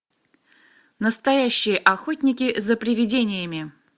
настоящие охотники за привидениями